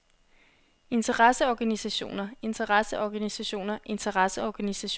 interesseorganisationer interesseorganisationer interesseorganisationer